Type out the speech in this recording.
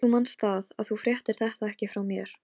Samningur um þetta var gerður til tveggja ára.